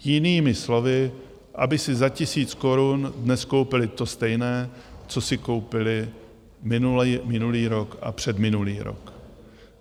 Jinými slovy, aby si za tisíc korun dnes koupili to stejné, co si koupili minulý rok a předminulý rok.